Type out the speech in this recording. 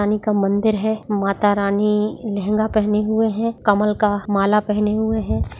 रानी का मंदिर है माता रानी लहंगा पहने हुए है कमल का माला पहने हुए है।